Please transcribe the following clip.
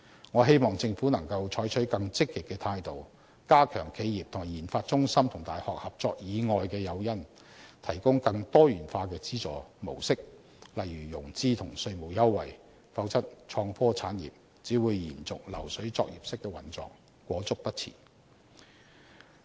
我希望政府能夠採取更積極的態度，加強企業與研發中心和大學合作以外的誘因，提供更多元化的資助模式，例如融資和稅務優惠，否則創科產業只會延續流水作業式的運作，裹足不前。